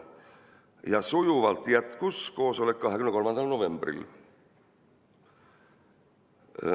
Ja sujuvalt jätkus koosolek 23. novembril.